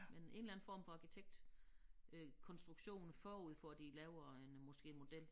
Men en eller anden form for arkitektkonstruktion forud for de laver en øh måske en model